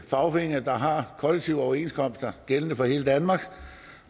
fagforeninger der har kollektive overenskomster gældende for hele danmark